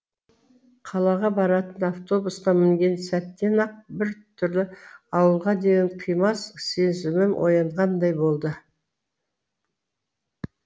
қалаға баратын автобусқа мінген сәттен ақ бір түрлі ауылға деген қимас сезімім оянғандай болды